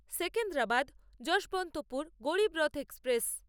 Secunderabad Yesvantpur Garib Rath express